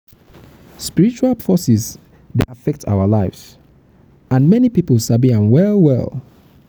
um spiritual forces dey affect our lives and many pipo sabi am well. um am well. um